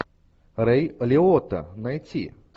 рэй лиотта найти